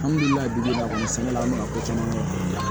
An b'u ladili kan sɛnɛ la ko caman ɲɛnabɔ